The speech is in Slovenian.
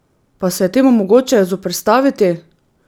Pa se je temu mogoče zoperstaviti?